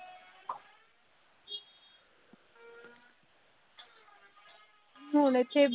ਹੁਣ ਇੱਥੇ